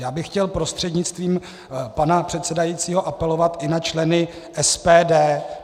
Já bych chtěl prostřednictvím pana předsedajícího apelovat i na členy SPD.